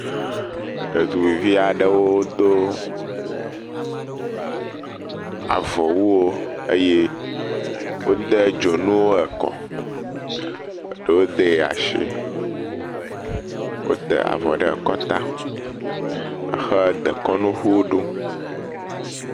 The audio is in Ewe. Ɖetugbuivi aɖewo do a…aa…a..avɔwuwo eye wode dzonu ekɔ, e.e ɖewo de asi, wote avɔ ɖe kɔta, hedekɔnuŋu ɖum.